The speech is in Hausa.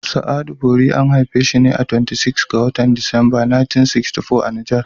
Sa'adu Bori an haifi shi ne a 28 ga watan Disamber 1964 a Niger.